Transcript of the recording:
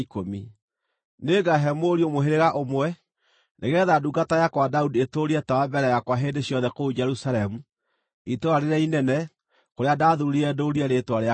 Nĩngaahe mũriũ mũhĩrĩga ũmwe, nĩgeetha ndungata yakwa Daudi ĩtũũrie tawa mbere yakwa hĩndĩ ciothe kũu Jerusalemu, itũũra rĩrĩa inene kũrĩa ndathuurire ndũũrie Rĩĩtwa rĩakwa kuo.